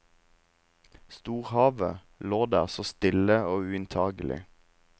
Storhavet lå der så stille og uinntagelig.